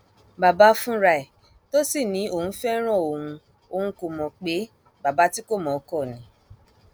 bàbá fúnra ẹ tó sì ní òun fẹràn òun òun kó mọ pé bàbá tí kò mọ ọn kò ní